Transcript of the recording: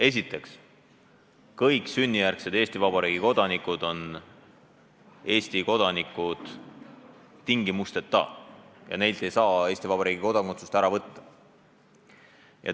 Esiteks, kõik sünnijärgsed Eesti Vabariigi kodanikud on Eesti kodanikud tingimusteta ja neilt ei saa Eesti Vabariigi kodakondsust ära võtta.